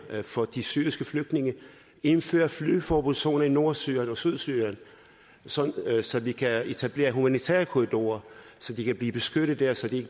for de syriske flygtninge indføre flyveforbudszone i nordsyrien og sydsyrien så så vi kan etablere humanitære korridorer så de kan blive beskyttet der så de